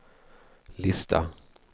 lista